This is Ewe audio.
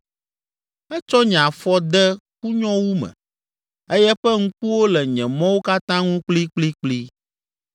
Etsɔ nye afɔ de kunyowu me eye eƒe ŋkuwo le nye mɔwo katã ŋu kplikplikpli.’